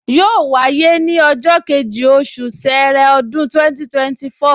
Yóò wáyé ní ọjọ́ kejì, oṣù ṣẹẹrẹ, ọdún 2024